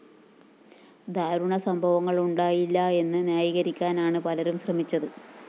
ദാരുണ സംഭവങ്ങള്‍ ഉണ്ടായില്ലാ എന്ന് ന്യായീകരിക്കാനാണ് പലരും ശ്രമിച്ചത്